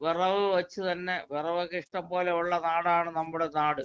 വെറക് വച്ച് തന്നെ വിറകൊക്കെ ഇഷ്ടം പോലെയൊള്ള നാടാണ് നമ്മുടെ നാട്.